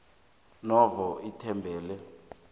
novo namkha ithembele